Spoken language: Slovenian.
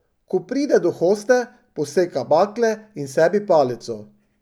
Ko pride do hoste, poseka bakle in sebi palico.